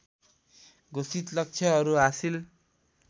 घोषित लक्ष्यहरू हासिल